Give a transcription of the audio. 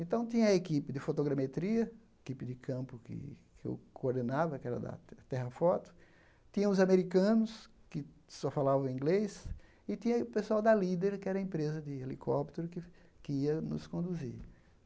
Então tinha a equipe de fotogrametria, a equipe de campo que que eu coordenava, que era da Terrafoto, tinha os americanos, que só falavam inglês, e tinha o pessoal da Líder, que era a empresa de helicóptero que ia nos conduzir.